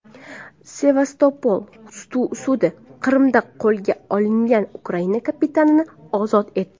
Sevastopol sudi Qrimda qo‘lga olingan ukrain kapitanini ozod etdi.